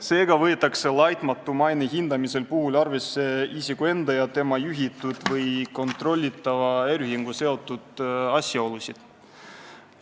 Seega võetakse laitmatu maine olemasolu hindamisel arvesse isiku enda ja tema juhitud või kontrollitava äriühinguga seotud asjaolusid.